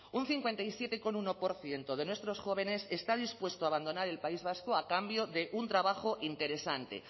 un cincuenta y siete coma uno por ciento de nuestros jóvenes está dispuesto a abandonar el país vasco a cambio de un trabajo interesante